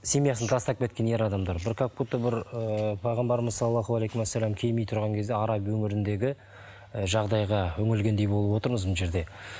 семьясын тастап кеткен ер адамдар бір как будто бір ыыы пайғамбарымыз келмей тұрған кезінде араб өңіріндегі і жағдайға үңілгендей болып отырмыз мына жерде